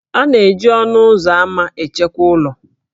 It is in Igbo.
A na-eji ọnụ ụzọ ámá echekwa ụlọ